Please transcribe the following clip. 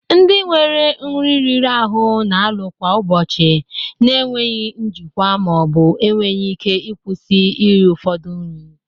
Ndị nwere nri riri ahụ na-alụ kwa ụbọchị na enweghị njikwa ma ọ bụ enweghị ike ịkwụsị iri ụfọdụ nri